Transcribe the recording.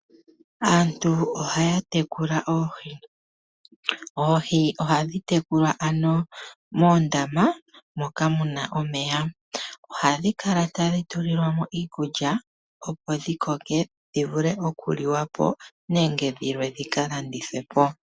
Aantu ohaya tekula oohi. Oohi ohadhi tekulwa moondama moka muna omeya. Ohadhi kala tadhi tulilwa mo iikulya opo dhikoke dhivule okuliwa po nenge dhilwe dhika landithwe po.